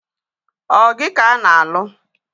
Ọ gị ka a na-alụ?